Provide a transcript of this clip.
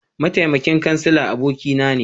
Mataimakin Kansila abokina ne